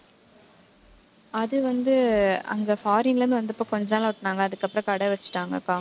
அது வந்து அங்க foreign ல இருந்து வந்தப்ப, கொஞ்ச நாள் ஓட்டினாங்க. அதுக்கப்புறம் கடை வெச்சிட்டாங்கக்கா